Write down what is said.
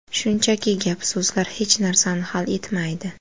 Shunchaki gap-so‘zlar hech narsani hal etmaydi.